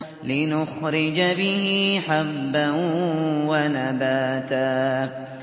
لِّنُخْرِجَ بِهِ حَبًّا وَنَبَاتًا